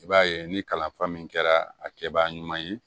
I b'a ye ni kalanfa min kɛra a kɛbaa ɲuman ye